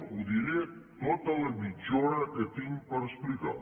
ho diré tota la mitja hora que tinc per explicar